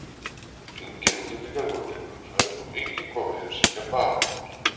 Engir útlendingar voru lengur á ferð og enginn kom að heimsækja baróninn.